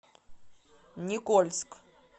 никольск